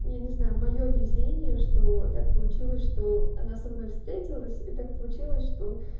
я не знаю моё везение что так получилось что она со мной встретилась и так получилось что